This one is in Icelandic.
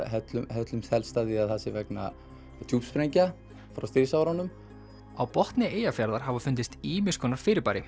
höllumst helst að því að það sé vegna djúpsprengja frá stríðsárunum á botni Eyjafjarðar hafa fundist ýmis konar fyrirbæri